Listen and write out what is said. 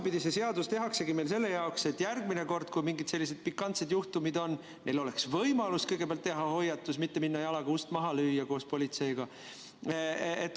Või kas see seadus tehaksegi selle jaoks, et järgmine kord, kui meil mingid sellised pikantsed juhtumid on, oleks neil võimalus kõigepealt teha hoiatus, mitte minna koos politseiga jalaga ust maha lööma?